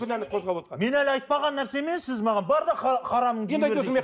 мен әлі айтпаған нәрсемен сіз маған бар да харамды жей бер дейсіз